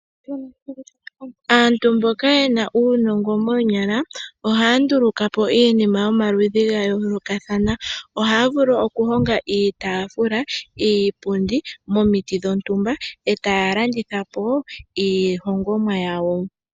Aantu mboka yena uunongo moonyala ohaa ndulukapo iinima yomaludhi gayolokathana. Oha ya vulu okuhonga iitafula, iipundi momiti dhontumba etaya landathipo iihongomwa yawo.